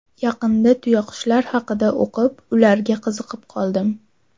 Yaqinda tuyaqushlar haqida o‘qib, ularga qiziqib qoldim.